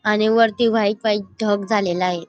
आणि वरती white white ढग झालेलं आहे.